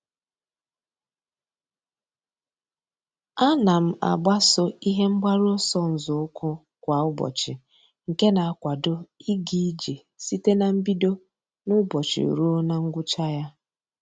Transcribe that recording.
A na m agbaso ihe mgbaru ọsọ nzọụkwụ kwa ụbọchị nke na-akwado ịga ije site na mbido n'ụbọchị ruo na ngwụcha ya.